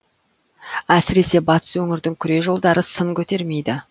әсіресе батыс өңірдің күре жолдары сын көтермейді